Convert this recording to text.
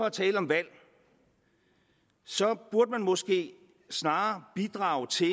at tale om valg burde man måske snarere bidrage til